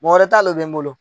Mɔgɔ wɛrɛ talen bɛ n bolo